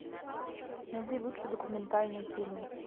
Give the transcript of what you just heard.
найди лучшие документальные фильмы